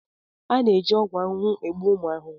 A na-eji ọgwụ ahụhụ egbu ụmụ ahụhụ.